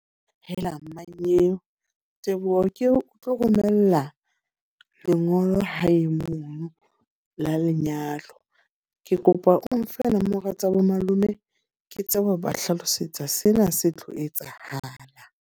Helang! Mannyeo, Teboho ke o tlo romella lengolo ha e monono la lenyalo. Ke kopa o nfe nomoro tsa bo malome ke tsebe ho ba hlalosetsa sena se tlo etsahala.